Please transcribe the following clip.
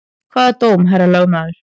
Hvaða dóm, herra lögmaður?